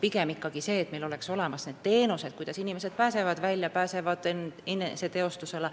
Eesmärk on pigem see, et meil oleks olemas need teenused, mille abil inimesed välja pääsevad, ennast teostada saavad.